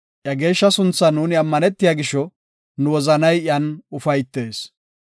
Iya geeshsha sunthan nuuni ammanetiya gisho, nu wozanay iyan ufaytees.